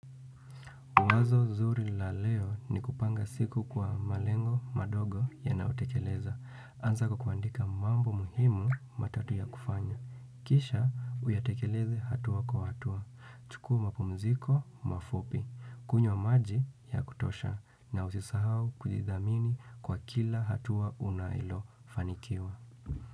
Wazo zuri la leo ni kupanga siku kwa malengo madogo yanayotekeleza. Anza kukuandika mambo muhimu matatu ya kufanya. Kisha uyatekeleze hatua kwa hatua. Chukua mapumziko mafupi. Kunywa maji ya kutosha. Na usisahau kujidhamini kwa kila hatua unalofanikiwa.